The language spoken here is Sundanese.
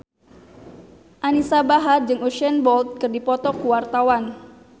Anisa Bahar jeung Usain Bolt keur dipoto ku wartawan